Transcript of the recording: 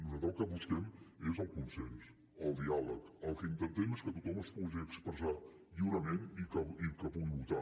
nosaltres el que busquem és el consens el diàleg el que intentem és que tothom es pugui expressar lliurement i que pugui votar